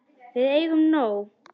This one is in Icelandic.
Við eigum nóg.